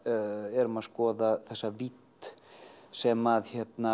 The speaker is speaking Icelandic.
erum að skoða þessa vídd sem